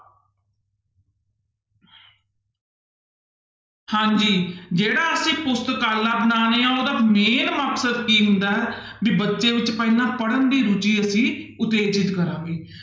ਹਾਂਜੀ ਜਿਹੜਾ ਅਸੀਂ ਪੁਸਤਕਾਲਾ ਬਣਾਉਂਦੇ ਹਾਂਂ ਉਹਦਾ main ਮਕਸਦ ਕੀ ਹੁੰਦਾ ਹੈ ਵੀ ਬੱਚੇ ਵਿੱਚ ਪਹਿਲਾਂ ਪੜ੍ਹਨ ਦੀ ਰੁੱਚੀ ਅਸੀਂ ਉਤੇਜਿਤ ਕਰਾਂਗੇ।